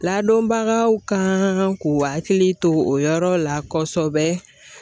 Ladɔnbagaw ka k'u hakili to o yɔrɔ la kosɛbɛ